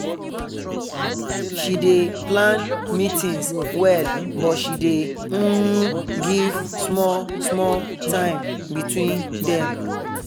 she dey plan meetings well but she dey um give small small time between them